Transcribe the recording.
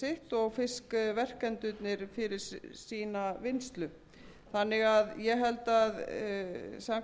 og fiskverkendurnir fyrir sína vinnslu ég held því vegna þeirrar umræðu sem hér hefur átt sér stað að það sé alveg